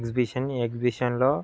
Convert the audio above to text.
Exhibition . ఈ exhibition లో--